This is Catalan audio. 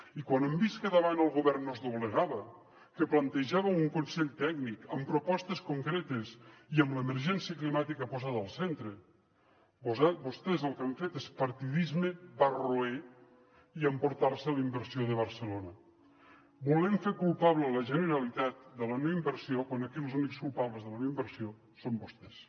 i quan han vist que al davant el govern no es doblegava que plantejava un consell tècnic amb propostes concretes i amb l’emergència climàtica posada al centre vostès el que han fet és partidisme barroer i emportar se la inversió de barcelona volent fer culpable la generalitat de la no inversió quan aquí els únics culpables de la no inversió són vostès